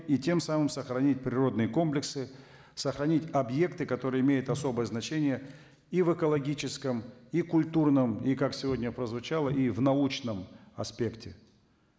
и тем самым сохранить природные комплексы сохранить объекты которые имеют особое значение и в экологическом и культурном и как сегодня прозвучало и в научном аспекте